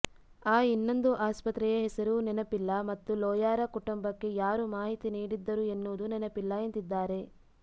ಆ ಇನ್ನೊಂದು ಆಸ್ಪತ್ರೆಯ ಹೆಸರೂ ನೆನಪಿಲ್ಲ ಮತ್ತು ಲೋಯಾರ ಕುಟುಂಬಕ್ಕೆ ಯಾರು ಮಾಹಿತಿ ನೀಡಿದ್ದರು ಎನ್ನುವುದೂ ನೆನಪಿಲ್ಲ ಎಂದಿದ್ದಾರೆ